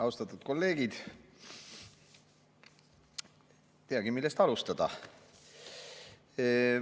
Austatud kolleegid, ei teagi, millest alustada.